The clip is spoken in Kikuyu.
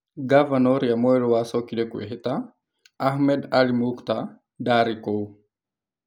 Ngavana ũrĩa mwerũ wacokire kwĩhĩta, Ahmed Ali Muktar, ndaarĩ kuo.